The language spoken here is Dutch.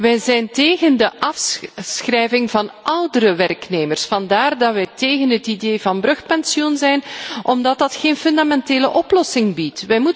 Wij zijn tegen de afschrijving van oudere werknemers, vandaar dat wij tegen het idee van brugpensioen zijn omdat dat geen fundamentele oplossing biedt.